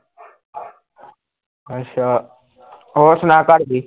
ਅੱਛਾ ਹੋਰ ਸੁਣਾ ਘਰ ਦੀ